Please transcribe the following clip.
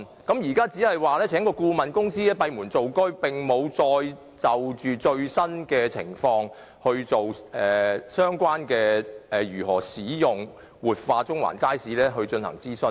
現在，當局只聘請顧問公司閉門造車，並沒有再就最新的情況進行如何使用、活化中環街市的相關諮詢。